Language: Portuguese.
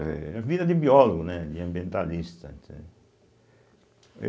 É a vida de biólogo, né, de ambientalista, entende.